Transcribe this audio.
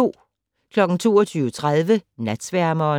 22:30: Natsværmeren